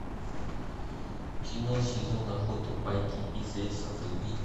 кино сезон охоты байки из леса вруби